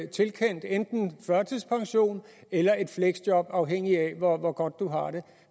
tilkendt en førtidspension eller et fleksjob afhængig af hvor hvor godt du har det